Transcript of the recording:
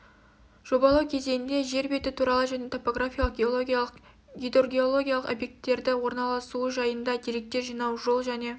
жобалау кезеңінде жер беті туралы және топографиялық геологиялық гидоргеологиялық объекттерді орналасуы жайында деректер жинау жол және